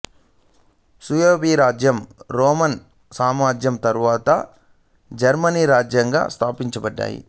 Suebi రాజ్యం Roman సామ్రాజ్యం తరువాత జర్మనీ రాజ్యంగా స్థాపించబడింది